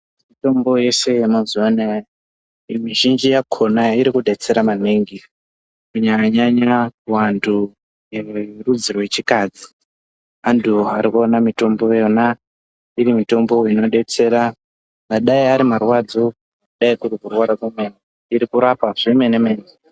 Mutombo yese yemazuwa anaya muzhinji yakona irikudetsera maningi kunyanya nyanya vandu verudzi rechikadzi andu ari kuwana mutombo yona iri mutombo inodetsera dai ari marwadzo dai kuri kurwara kwemene iri kurapa zvemene mene.